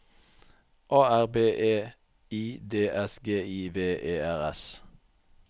A R B E I D S G I V E R S